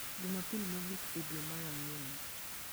Jumapil mogik e dwe mar ang'wen